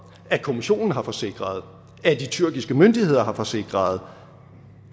at kommissionen har forsikret at de tyrkiske myndigheder har forsikret